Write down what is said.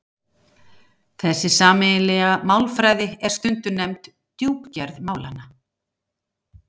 Þessi sameiginlega málfræði er stundum nefnd djúpgerð málanna.